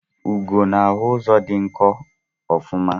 Ugo na-ahụ ụzọ dị nkọ ofuma